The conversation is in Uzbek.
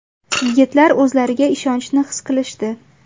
Yigitlar o‘zlariga ishonchni his qilishdi.